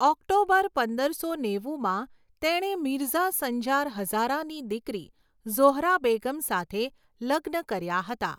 October પંદરસો નેવુમાં તેણે મિરઝા સંજાર હઝારાની દીકરી ઝોહરા બેગમ સાથે લગ્ન કર્યા હતા.